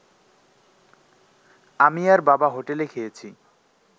আমি আর বাবা হোটেলে খেয়েছি